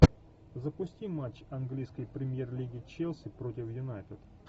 запусти матч английской премьер лиги челси против юнайтед